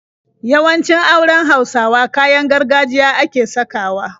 Yawancin auren Hausawa kayan gargajiya ake sakawa.